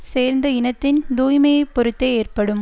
சேர்ந்த இனத்தின் தூய்மையைப் பொறுத்தே ஏற்ப்படும்